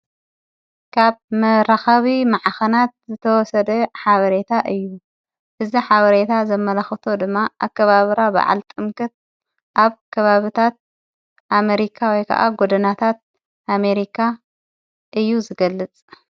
ካብ መራኻቢ መዓኸናት ዝተወሰደ ሓበሬታ እዩ እዚ ሓበሬታ ዘመላኽቶ ድማ ኣከባብራ ብዓል ጥምቅት ኣብ ከባብታት ኣሜሪካ ወይ ከዓ ጐድናታት ኣሜሪካ እዩ ዝገልጽ።